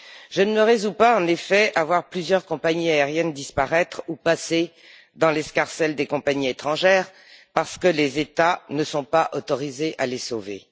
Je ne me résous pas, en effet, à voir plusieurs compagnies aériennes disparaître ou passer dans l'escarcelle des compagnies étrangères, parce que les États ne sont pas autorisés à les sauver.